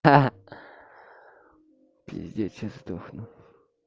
а пиздец сейчас сдохну